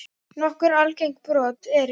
Nokkur algeng brot eru